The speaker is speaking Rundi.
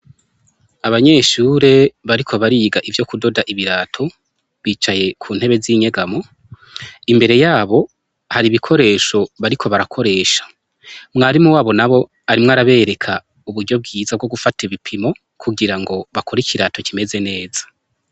Abanyeshure bariko bariga ivyo kudoda ibirato, bicaye kuntebe z'inyegamo, imbere yabo har'ibikoresho bariko barakoresha, mwarimu wabo nabo arimwo arabereka uburyo bwiza bwo gufata ibipimo kugira ngo bakore ikirato kimeze neza.